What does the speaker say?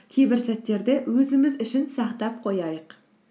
кейбір сәттерді өзіміз үшін сақтап қояйық